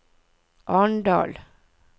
Arendal